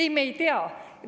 Ei, me ei tea.